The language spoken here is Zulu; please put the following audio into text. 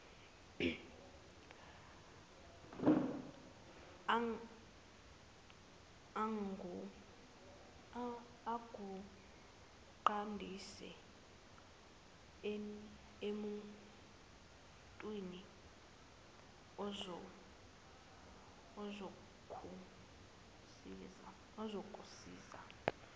akuqondise emuntwini ozokusiza